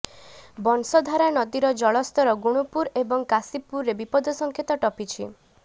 ବଂଶଧାରା ନଦୀର ଜଳସ୍ତର ଗୁଣୁପୁର ଏବଂ କାଶୀପୁରରେ ବିପଦସଂଙ୍କେତ ଟପିଛି